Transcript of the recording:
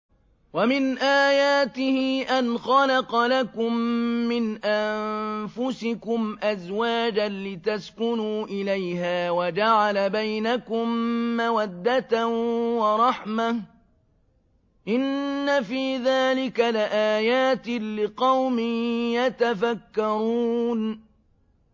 وَمِنْ آيَاتِهِ أَنْ خَلَقَ لَكُم مِّنْ أَنفُسِكُمْ أَزْوَاجًا لِّتَسْكُنُوا إِلَيْهَا وَجَعَلَ بَيْنَكُم مَّوَدَّةً وَرَحْمَةً ۚ إِنَّ فِي ذَٰلِكَ لَآيَاتٍ لِّقَوْمٍ يَتَفَكَّرُونَ